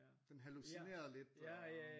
Den hallucinerede lidt og